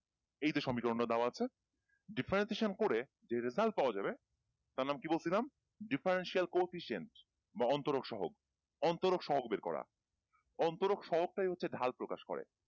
এইযে সমীকরণটা দেওয়া আছে differentiation করে যে result পাওয়া যাবে তার নাম কি বলছিলাম differential coefficient বা অন্তরোগ সহক অন্তরক সহক বের করা অন্তরক সহক টাই হচ্ছে ঢাল প্রকাশ করে